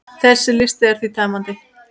Þessi listi er því tæmandi.